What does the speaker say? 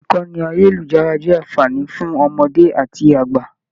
Ìkànnì ayelujara jẹ anfààní fún ọmọdé àti àgbà.